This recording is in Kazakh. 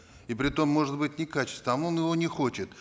и при том может быть не качественный а он его не хочет